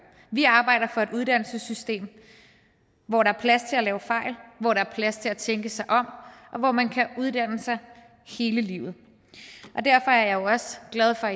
vi arbejder for et uddannelsessystem hvor der er plads til at lave fejl hvor der er plads til at tænke sig om og hvor man kan uddanne sig hele livet derfor er jeg jo også glad for